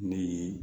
Ni